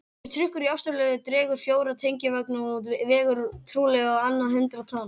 Þessi trukkur í Ástralíu dregur fjóra tengivagna og vegur trúlega á annað hundrað tonn.